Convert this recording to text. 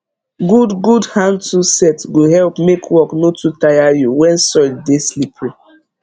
good good handtool set go help make work no too tire you when soil dey slippery